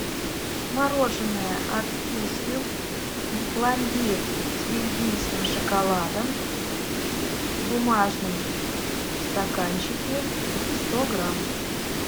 мороженое от вкусвилл пломбир с бельгийским шоколадом в бумажном стаканчике сто грамм